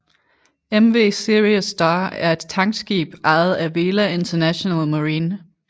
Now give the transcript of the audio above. MV Sirius Star er et tankskib ejet af Vela International Marine